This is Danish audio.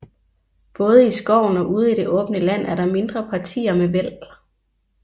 Både i skoven og ude i det åbne land er der mindre partier med væld